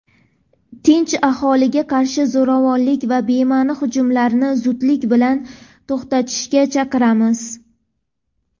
tinch aholiga qarshi zo‘ravonlik va bema’ni hujumlarni zudlik bilan to‘xtatishga chaqiramiz.